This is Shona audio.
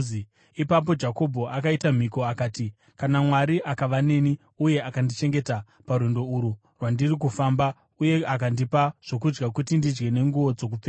Ipapo Jakobho akaita mhiko, akati, “Kana Mwari akava neni uye akandichengeta parwendo urwu rwandiri kufamba uye akandipa zvokudya kuti ndidye nenguo dzokupfeka